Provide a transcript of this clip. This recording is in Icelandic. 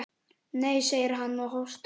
Nei, segir hann og hóstar.